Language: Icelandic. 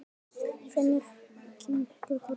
Finnur kinkaði kolli.